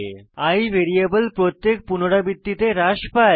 i variable প্রত্যেক পুনরাবৃত্তিতে হ্রাস পায়